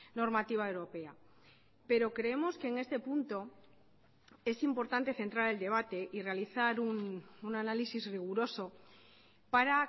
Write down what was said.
normativa europea pero creemos que en este punto es importante centrar el debate y realizar un análisis riguroso para